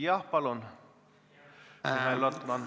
Jah, palun, Mihhail Lotman!